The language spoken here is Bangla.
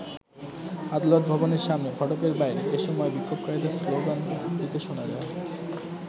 আদালত ভবনের সামনের ফটকের বাইরে এ সময় বিক্ষোভকারীদের স্লোগান দিতে শোনা যায়।